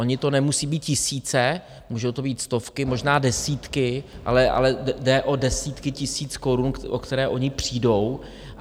Ono jich nemusí být tisíce, můžou to být stovky, možná desítky, ale jde o desítky tisíc korun, o které oni přijdou.